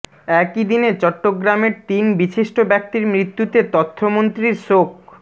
একই দিনে চট্টগ্রামের তিন বিশিষ্ট ব্যক্তির মৃত্যুতে তথ্যমন্ত্রীর শোক